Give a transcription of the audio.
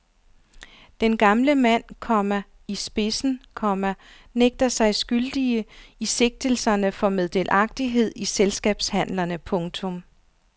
Den gamle mand, komma i spidsen, komma nægter sig skyldige i sigtelserne for meddelagtighed i selskabshandlerne. punktum